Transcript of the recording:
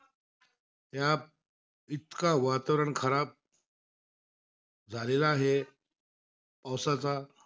त्या इतका वातावरण खराब झालेला आहे. पावसाचा,